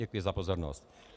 Děkuji za pozornost.